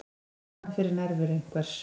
Ég fann fyrir nærveru einhvers.